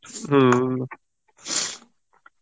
হম